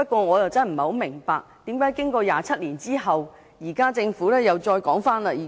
我不明白為何經過27年，政府現時又再次重提。